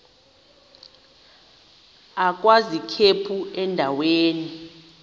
agwaz ikhephu endaweni